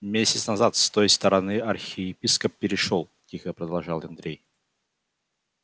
месяц назад с той стороны архиепископ перешёл тихо продолжал андрей